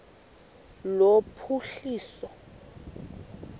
lophuhliso